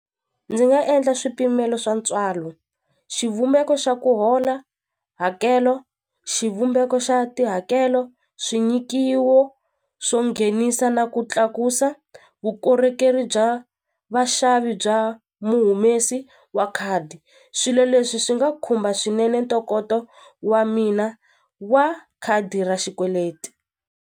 Ndzi nga endla swipimelo swa ntswalo xivumbeko xa ku hola hakelo xivumbeko xa tihakelo swi nyikiwo swo nghenisa na ku tlakusa vukorhokeri bya vaxavi bya muhumesi wa khadi swilo leswi swi nga khumba swinene ntokoto wa mina wa khadi ra xikweleti.